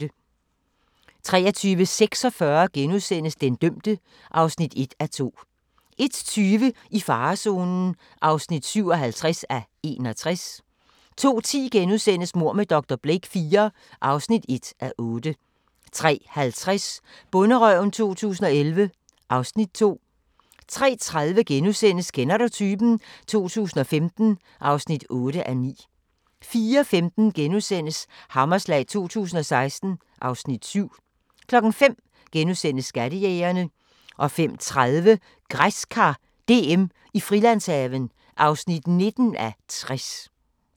23:46: Den dømte (1:2)* 01:20: I farezonen (57:61) 02:10: Mord med dr. Blake IV (1:8)* 03:05: Bonderøven 2011 (Afs. 2) 03:30: Kender du typen? 2015 (8:9)* 04:15: Hammerslag 2016 (Afs. 7)* 05:00: Skattejægerne * 05:30: Græskar DM i Frilandshaven (19:60)